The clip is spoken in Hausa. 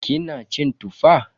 Kina cin Tuffa?